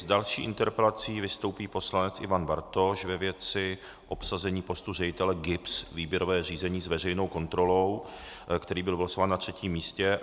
S další interpelací vystoupí poslanec Ivan Bartoš ve věci obsazení postu ředitele GIBS - výběrové řízení s veřejnou kontrolou, který byl vylosován na třetím místě.